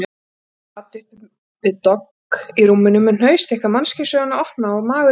Hún sat uppi við dogg í rúminu með hnausþykka mannkynssöguna opna á magurri bringunni.